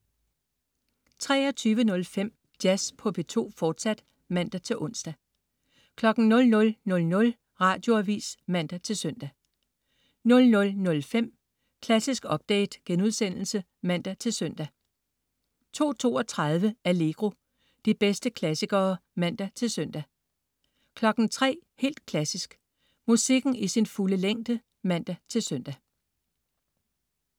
23.05 Jazz på P2, fortsat (man-ons) 00.00 Radioavis (man-søn) 00.05 Klassisk update* (man-søn) 02.32 Allegro. De bedste klassikere (man-søn) 03.00 Helt Klassisk. Musikken i sin fulde længde (man-søn)